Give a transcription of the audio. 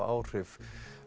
áhrif